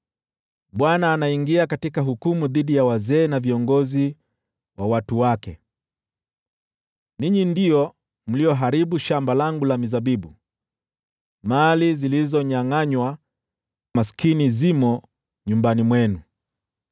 Bwana anaingia katika hukumu dhidi ya wazee na viongozi wa watu wake: “Ninyi ndio mlioharibu shamba langu la mizabibu, mali zilizonyangʼanywa maskini zimo nyumbani mwenu.